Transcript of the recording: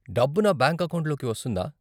డబ్బు నా బ్యాంక్ అకౌంట్లోకి వస్తుందా?